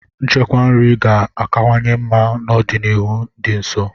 Nchekwa nri ga-akawanye mma n'ọdịnihu dị nso.